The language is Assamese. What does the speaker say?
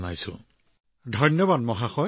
বহুত বহুত ধন্যবাদ ধন্যবাদ ছাৰ ধন্যবাদ